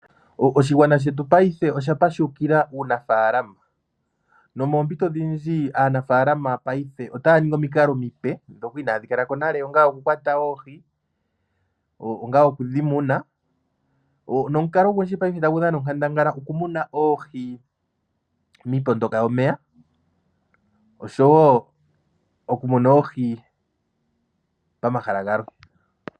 Oshigwana shetu paife osha pashukila uunafaalama. Nomoompito odhindji aanafaalama paife otaya ningi omikalo omipe ndhoka inaadhi kala ko nale, onga okukwata oohi, onga oku dhi muna, nomukalo ogundji paife tagu dhana onkandangala okumuna oohi miipondoka yomeya osho wo okumuna oohi pamahala galwe.